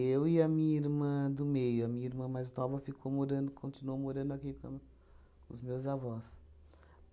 Eu e a minha irmã do meio, a minha irmã mais nova ficou morando, continuou morando aqui com com os meus avós.